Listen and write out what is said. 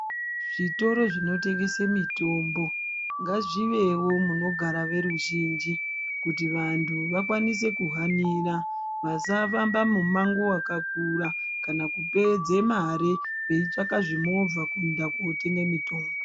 Zvitoro zvino tengese mitombo ngazvivewo munogara veruzhinji kuti vanhu vakwanise ku hanira vasafamba mu mango wakakura kana kupedze mari veitsvaga zvi movha kuenda ko tsvaga mitombo.